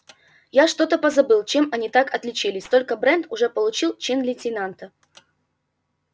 я что-то позабыл чем они так отличились только брент уже получил чин лейтенанта